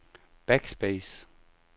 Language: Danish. backspace